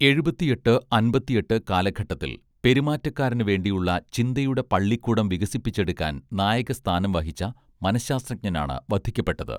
എഴുപത്തിയെട്ട് അൻപത്തിയെട്ട് കാലഘട്ടത്തിൽ പെരുമാറ്റക്കാരന് വേണ്ടിയുള്ള ചിന്തയുടെ പള്ളിക്കൂടം വികസിപ്പിച്ചെടുക്കാൻ നായകസ്ഥാനം വഹിച്ച മനഃശാസ്ത്രജ്ഞനാണ് വധിക്കപ്പെട്ടത്